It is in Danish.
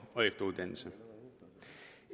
og efteruddannelse